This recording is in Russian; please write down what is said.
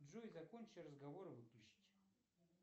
джой закончи разговор и выключись